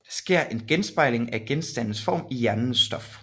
Der sker en genspejling af genstandens form i hjernens stof